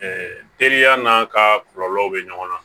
teriya n'a ka kɔlɔlɔw bɛ ɲɔgɔn na